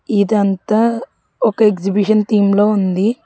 ఇదంతా ఒక exhibition theme లో ఉంది.